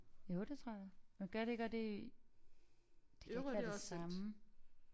Jo det tror jeg men gør det ikke også det i det kan ikke være det samme